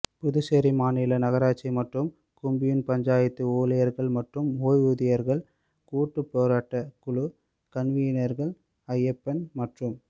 புதுச்சேரி மாநில நகராட்சி மற்றும் கொம்யூன் பஞ்சாயத்து ஊழியா்கள் மற்றும் ஓய்வூதியா்கள் கூட்டு போராட்டக் குழு கன்வீனா்கள் அய்யப்பன் மற்றும்